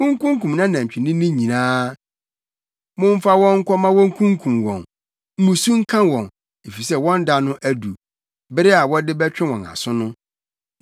Munkunkum nʼanatwinini nyinaa; momfa wɔn nkɔ mma wonkokum wɔn! Mmusu nka wɔn! Efisɛ wɔn da no adu, bere a wɔde bɛtwe wɔn aso no.